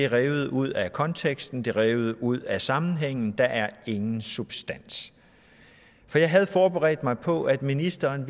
revet ud af konteksten det er revet ud af sammenhængen og der er ingen substans jeg havde forberedt mig på at ministeren